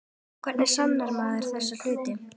Hvernig sannar maður þessa hluti?